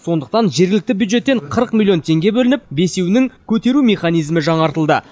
сондықтан жергілікті бюджеттен қырық миллион теңге бөлініп бесеуінің көтеру механизмі жаңартылды